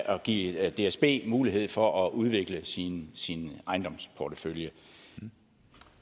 at give dsb mulighed for at udvikle sin ejendomsportefølje